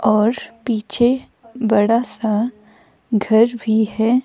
और पीछे बड़ा सा घर भी है.